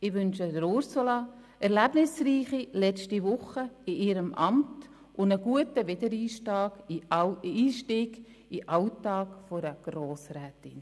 Ich wünsche Ursula Zybach erlebnisreiche letzte Wochen in ihrem Amt und einen guten Wiedereinstieg in den Alltag einer Grossrätin.